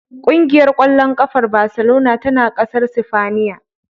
Ƙumgiyar ƙwallon ƙafar Baselona tana ƙasar Sifaniya.